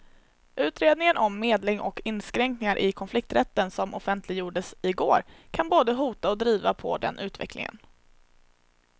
Utredningen om medling och inskränkningar i konflikträtten som offentliggjordes i går kan både hota och driva på den utvecklingen.